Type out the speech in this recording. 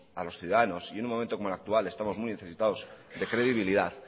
a los ciudadanos y en un momento como el actual estamos muy necesitados de credibilidad